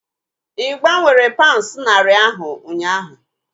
Ị gbanwere paunds narị ahu ụnyaahụ?